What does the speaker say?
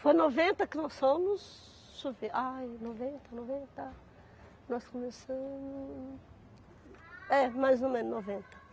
Foi noventa que nós fomos Deixa eu ver... Ai, noventa, noventa Nós começamos... É, mais ou menos noventa.